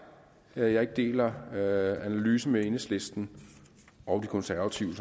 at jeg ikke deler analyse med enhedslisten og de konservative